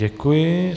Děkuji.